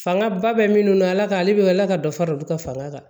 Fanga ba bɛ minnu na ala ka ale bɛ ala ka dɔ fara olu ka fanga kan